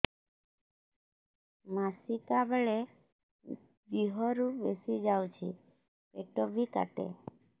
ମାସିକା ବେଳେ ଦିହରୁ ବେଶି ଯାଉଛି ପେଟ ବି କାଟେ